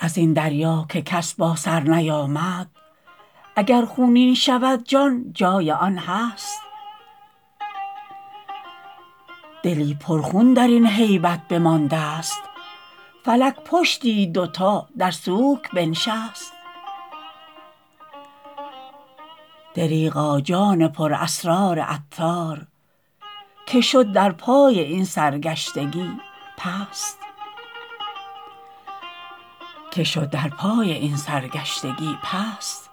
ازین دریا که کس با سر نیامد اگر خونین شود جان جای آن هست دلی پر خون درین هیبت بمانده ست فلک پشتی دو تا در سوک بنشست دریغا جان پر اسرار عطار که شد در پای این سرگشتگی پست